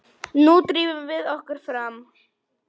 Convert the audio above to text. Nú drífum við okkur fram!